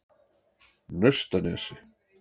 Naustanesi